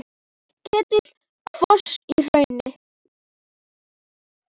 Ketill kvos í hrauni.